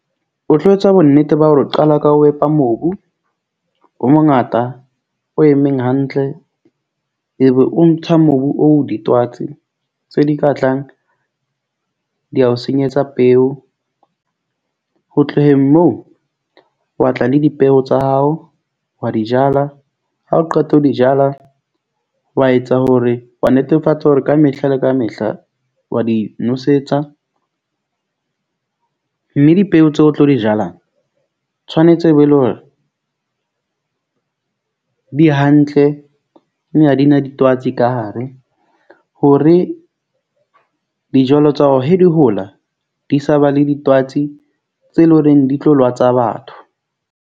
O tlo etsa bo nnete ba hore o qala ka ho epa mobu o mongata o emeng hantle e be o ntshwa mobu o ditwatsi tse di ka tlang di a o senyetsa peo. Ho tloheng moo wa tla le dipeo tsa hao. Wa di jala ha o qeta ho di jala, wa etsa hore wa netefatsa hore kamehla le kamehla wa di nosetsa. Mme dipeo tse o tlo di jalang tshwanetse be e leng hore di hantle. Mme ha di na ditwatsi ka hare hore dijalo tsa hao he di hola, di sa ba le ditwatsi tse leng hore di tlo lwatsa batho.